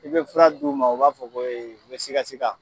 I be fura d'u ma u b'a fɔ ko e be siga sika